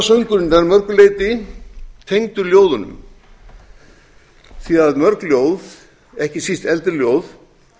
að mörgu leyti tengdur ljóðunum því að mörg ljóð ekki síst eldri ljóð